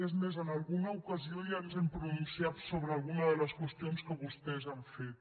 és més en alguna ocasió ja ens hem pronunciat sobre alguna de les qüestions que vostès han fet